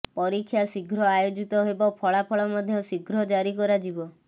ପରୀକ୍ଷା ଶିଘ୍ର ଆୟୋଜିତ ହେବ ଫଳାଫଳ ମଧ୍ୟ ଶିଘ୍ର ଜାରୀ କରାଯିବ